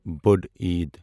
بٔڑ عیٖد